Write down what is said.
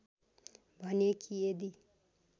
भने कि यदि